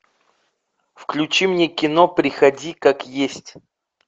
включи мне кино приходи как есть